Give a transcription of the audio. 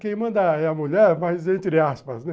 Quem manda é a mulher, mas entre aspas, né?